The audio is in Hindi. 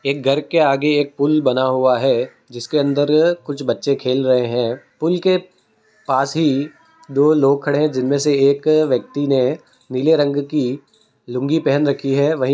एक घर के आगे एक पुल बना हुआ है जिसके अंदर कुछ बच्चे खेल रहें हैं पुल के पास ही दो लोग खड़े हैं जिनमें से एक व्यक्ति ने पीले रंग की लुंगी पहन रखी है वही --